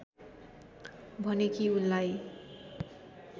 भने कि उनलाई